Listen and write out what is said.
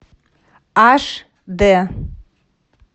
аш д